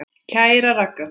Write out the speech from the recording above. Kæra Ragga.